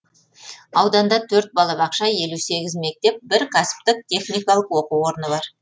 ауданда төрт балабақша елу сегіз мектеп бір кәсіптік техникалық оқу орны бар